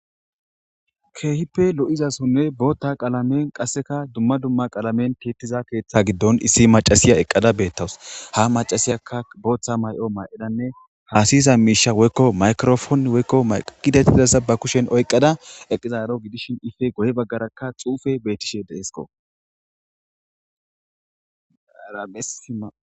Keehippe lo'izasonne bootta qaalamen qasseka dumma dumma qaalamen tiittiza keeththa giddon issi macasiya eqqada beettawus ha macasiyakka booththa may'o maa'edanne haasihiza miisha woykko maykirofon woykko maqidehdidassa ba kushen oyqqada eqizaaro gidishin ife goye baggarakka xuufe beetishe deeesko